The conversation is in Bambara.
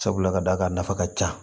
Sabula ka d'a kan a nafa ka ca